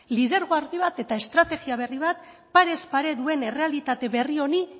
lidergo argi bat eta estrategia berri bat parez pare duen errealitate berri honi